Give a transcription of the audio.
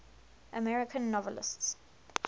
american novelists